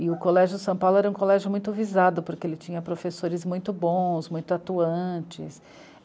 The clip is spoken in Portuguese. E o Colégio São Paulo era um colégio muito visado, porque ele tinha professores muito bons, muito atuantes.